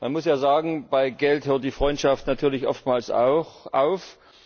Man muss ja sagen, bei Geld hört die Freundschaft natürlich oftmals auf.